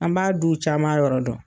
An b'a duw caman yɔrɔ dɔn